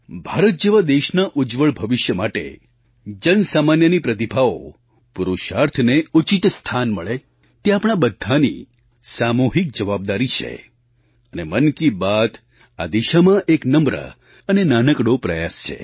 ભારત જેવા દેશના ઉજ્જવળ ભવિષ્ય માટે જનસામાન્યની પ્રતિભાઓપુરુષાર્થને ઉચિત સ્થાન મળે તે આપણાં બધાંની સામૂહિક જવાબદારી છે અને મન કી બાત આ દિશામાં એક નમ્ર અને નાનકડો પ્રયાસ છે